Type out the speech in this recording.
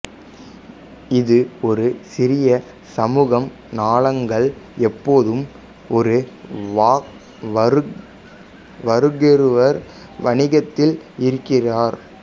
இது ஒரு சிறிய சமூகம் நாங்கள் எப்போதும் ஒருவருக்கொருவர் வணிகத்தில் இருக்கிறோம்